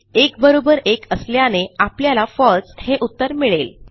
1 बरोबर 1 असल्याने आपल्याला फळसे हे उत्तर मिळेल